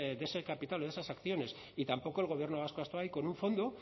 de ese capital o de esas acciones y tampoco el gobierno vasco ha estado ahí con un fondo